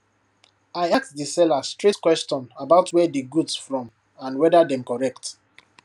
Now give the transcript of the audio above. i ask di seller straight question about where di goods from and whether dem correct